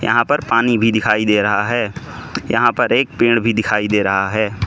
यहां पर पानी भी दिखाई दे रहा है यहां पर एक पेड़ भी दिखाई दे रहा है।